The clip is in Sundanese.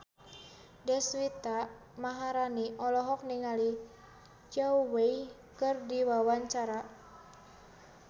Deswita Maharani olohok ningali Zhao Wei keur diwawancara